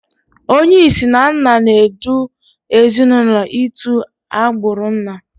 Onyeisi na nna n'edu ezinụlọ itu agbụrụ nna